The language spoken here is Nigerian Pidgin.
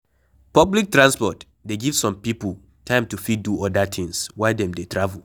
Public transport dey give some pipo time to fit do oda things while dem dey travel